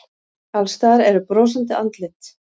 Alls staðar eru brosandi andlit.